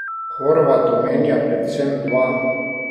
Horvat omenja predvsem dva.